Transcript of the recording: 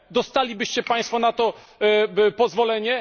Dostalibyście państwo na to pozwolenie?